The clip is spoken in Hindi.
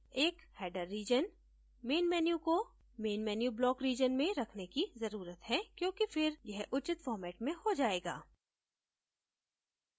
एक header region main menu को main menu block region में रखने की जरूरत है क्योंकि फिर यह उचित फॉर्मेट में हो जायेगा